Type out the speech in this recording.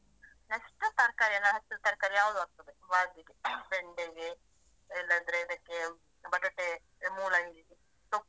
Next ತರಕಾರಿ ಎಲ್ಲ, ಹಸಿರು ತರ್ಕಾರಿ ಯಾವುದು ಆಗ್ತದೆ . ಬೆಂಡೆಗೆ ಇಲ್ಲದ್ರೆ ಇದಕ್ಕೆ ಬಟಾಟೆ, ಮೂಲಂಗಿ, ಸೊಪ್ಪು,.